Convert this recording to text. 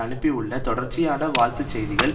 அனுப்பியுள்ள தொடர்ச்சியான வாழ்த்து செய்திகள்